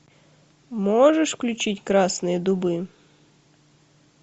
можешь включить красные дубы